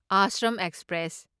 Ashram express